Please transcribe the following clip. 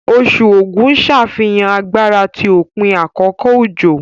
Oṣù Ógù ń ṣàfihàn agbára ti òpin àkókò òjò